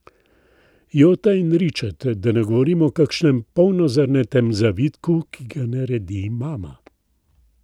Jota in ričet, da ne govorim o kakšnem polnozrnatem zavitku, ki ga naredi mama.